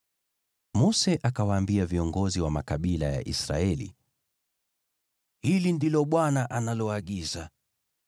Mose akawaambia viongozi wa makabila ya Israeli: “Hili ndilo Bwana analoagiza: